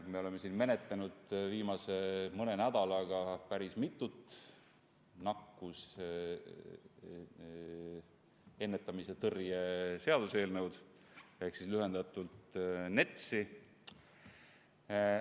Me oleme siin viimase mõne nädala jooksul menetlenud päris mitut nakkushaiguste ennetamise ja tõrje seaduse ehk lühendatult NETS-i eelnõu.